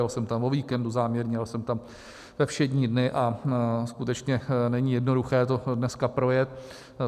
Jel jsem tam o víkendu záměrně, jel jsem tam ve všední dny a skutečně není jednoduché to dneska projet.